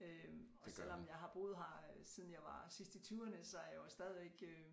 Øh og selvom jeg har boet her øh siden jeg var sidst i tyverne så er jeg jo stadigvæk øh